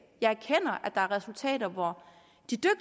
jeg erkender at der er resultater hvor